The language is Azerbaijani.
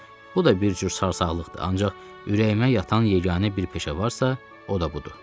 Bilirəm, bu da bir cür sarsaqlıqdır, ancaq ürəyimə yatan yeganə bir peşə varsa, o da budur.